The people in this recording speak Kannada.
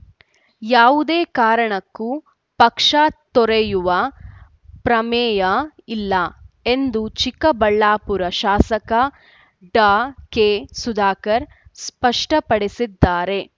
ಯಾವುದೇ ಕಾರಣಕ್ಕೂ ಪಕ್ಷ ತೊರೆಯುವ ಪ್ರಮೇಯ ಇಲ್ಲ ಎಂದು ಚಿಕ್ಕಬಳ್ಳಾಪುರ ಶಾಸಕ ಡಾಕೆ ಸುಧಾಕರ್‌ ಸ್ಪಷ್ಟಪಡಿಸಿದ್ದಾರೆ